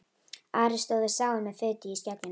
Ari stóð við sáinn með fitu í skegginu.